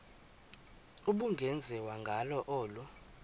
ubungenziwa ngalo olu